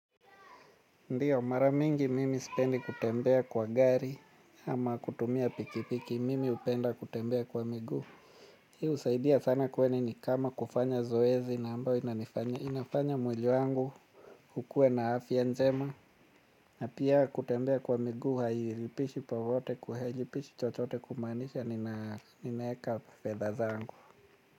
Ndiyo maramingi mimi sipendi kutembea kwa gari ama kutumia pikipiki mimi hupenda kutembea kwa miguu. Hii husaidia sana kwani ni kama kufanya zoezi na ambayo inafanya mwili wangu ukue na afya njema. Na pia kutembea kwa miguu hailipishi popote kua hailipishi chochote kumaanisha ninaeka fedha zangu.